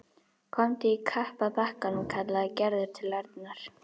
Komdu í kapp að bakkanum kallaði Gerður til Arnar.